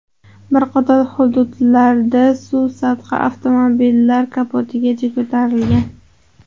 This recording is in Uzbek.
Bir qator hududlarda suv sathi avtomobillar kapotigacha ko‘tarilgan.